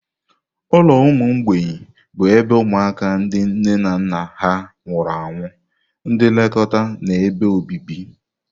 Ụlọ ụmụ mgbei bụ ebe ụmụaka ndị nne na nna ha nwụrụ anwụ, ndị nlekọta na ebe obibi.